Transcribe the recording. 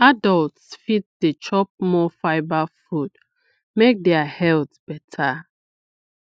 adults fit dey chop more fibre food make their health better